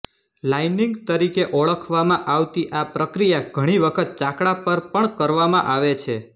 lining તરીકે ઓળખવામાં આવતી આ પ્રક્રિયા ઘણીવખત ચાકડા પર પણ કરવામાં આવે છે